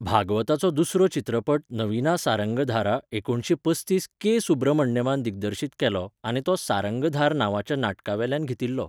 भागवताचो दुसरो चित्रपट 'नविना सारंगाधारा' एकुणशें पस्तीस के. सुब्रमण्यमान दिग्दर्शित केलो आनी तो सारंगाधार नांवाच्या नाटका वेल्यान घेतिल्लो.